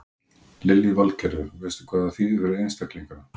Lillý Valgerður: Veistu hvað það þýðir fyrir einstaklingana?